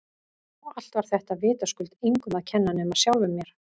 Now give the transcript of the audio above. Og allt var þetta vitaskuld engum að kenna nema sjálfum mér!